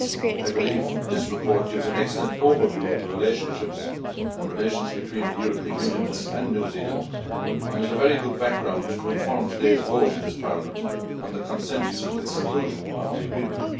I believe this report gives an excellent overview of the relationships and relations between the European Union and New Zealand, and is a very good background to inform today's vote in this Parliament on consent to the conclusion of the agreement.